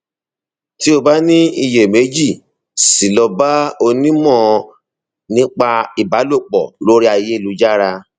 tí o bá ní iyèméjì sí i lọ bá onímọ nípa ìbálòpọ lórí ayélujára